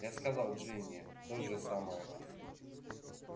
я сказал джинни то же самое